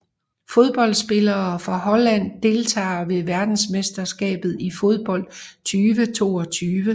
Fodboldspillere fra Holland Deltagere ved verdensmesterskabet i fodbold 2022